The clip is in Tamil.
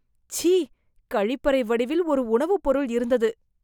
ச்சீ, கழிப்பறை வடிவில் ஒரு உணவு பொருள் இருந்தது